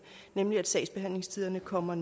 nemlig at sagsbehandlingstiderne kommer